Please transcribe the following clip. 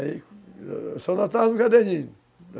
Aí, eu só notava no caderninho.